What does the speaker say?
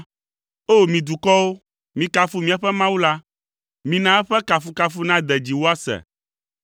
O! Mi dukɔwo, mikafu míaƒe Mawu la; mina eƒe kafukafu nade dzi woase.